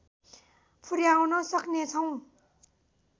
पुर्‍याउन सक्नेछौँ